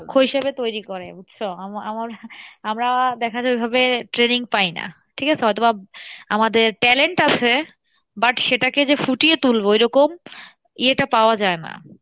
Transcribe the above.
দক্ষ হিসেব তৈরী করে বুঝছো, আমার~আমার আমরা দেখা যাই ওইভাবে training পাই না ঠিক আছে হয়তো বা আমাদের talent আছে but সেটাকে যে ফুটিয়ে তুলবো এরকম ইয়েটা পাওয়া যাই না,